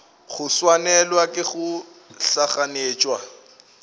go swanelwa ke go gahlanetšwa